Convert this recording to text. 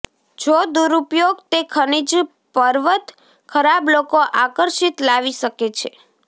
જો દુરુપયોગ તે ખનિજ પર્વત ખરાબ લોકો આકર્ષિત લાવી શકે છે